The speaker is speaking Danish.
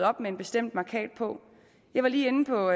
op med en bestemt mærkat på jeg var lige inde på